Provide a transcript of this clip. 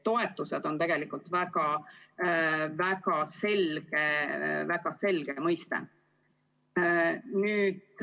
Toetused on tegelikult väga selge mõiste.